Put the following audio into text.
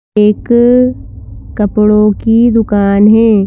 एक कपड़ों की दुकान है।